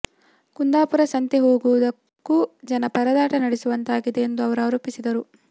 ಕುಂದಾಪುರ ಸಂತೆ ಹೋಗುವುದಕ್ಕೂ ಜನ ಪರದಾಟ ನಡೆಸುವಂತಾಗಿದೆ ಎಂದು ಅವರು ಆರೋಪಿಸಿದರು